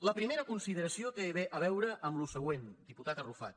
la primera consideració té a veure amb el següent diputat arrufat